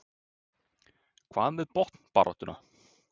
Hvað með botnbaráttuna?